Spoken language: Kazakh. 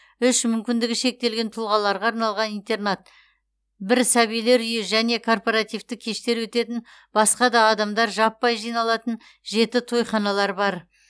үш мүмкіндігі шектелген тұлғаларға арналған интернат бір сәбилер үйі және корпоративті кештер өтетін басқа да адамдар жаппай жиналатын жеті тойханалар бар